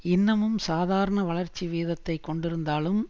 இன்னமும் சாதாரண வளர்ச்சி வீதத்தை கொண்டிருந்தாலும்